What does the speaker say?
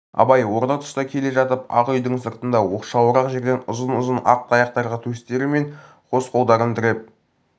абай орта тұста келе жатып ақ үйдің сыртында оқшауырақ жерде ұзын-ұзын ақ таяқтарға төстері мен қос қолдарын тіреп